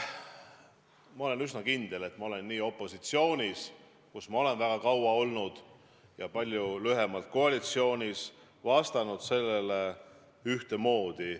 Ma olen üsna kindel, et ma olen nii opositsioonis, kus ma olen väga kaua olnud, kui ka koalitsioonis, kus ma olen palju lühemalt olnud, vastanud sellele ühtemoodi.